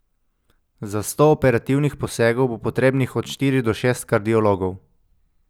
Za sto operativnih posegov bo potrebnih od štiri do šest kardiologov.